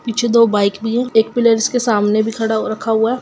पीछे दो बईक भी है पिलर्स के सामने भी खड़ा हुआ है।